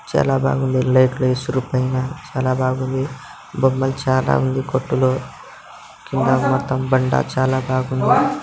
చాలా బాగుంది పైన చాలా బాగుంది బొమ్మలు చాలా ఉంది కొట్టులో కింద మొత్తం బండ చాలా బాగుంది.